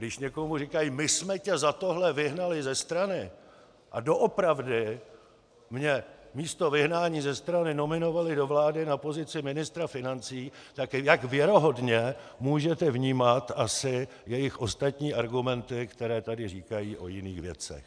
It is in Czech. Když někomu říkají my jsme tě za tohle vyhnali ze strany, a doopravdy mě místo vyhnání ze strany nominovali do vlády na pozici ministra financí, tak jak věrohodně můžete vnímat asi jejich ostatní argumenty, které tady říkají o jiných věcech?